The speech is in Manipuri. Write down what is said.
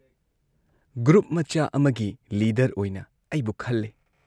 ꯒ꯭ꯔꯨꯞ ꯃꯆꯥ ꯑꯃꯒꯤ ꯂꯤꯗꯔ ꯑꯣꯏꯅ ꯑꯩꯕꯨ ꯈꯜꯂꯦ꯫